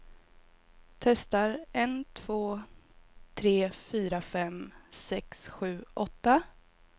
Testar en två tre fyra fem sex sju åtta.